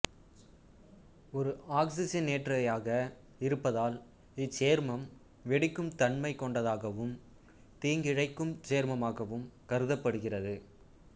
ஒரு ஆக்சிசனேற்றியாக இருப்பதால் இச்சேர்மம் வெடிக்கும் தன்மை கொண்டதாகவும் தீங்கிழைக்கும் சேர்மமாகவும் கருதப்படுகிறது